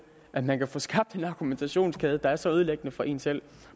at man kan få skabt en argumentationskæde der er så ødelæggende for en selv